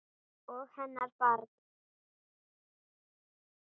Og hennar barn.